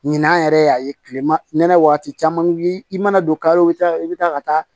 Ɲinan yɛrɛ y'a ye kilema waati caman i mana don ka i bɛ taa ka taa